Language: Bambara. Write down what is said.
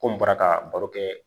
Ko n bɔra ka baro kɛ